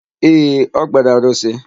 Ee, o kpere arụsị.